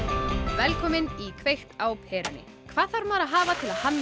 velkomin í kveikt á perunni hvað þarf maður að hafa til að hanna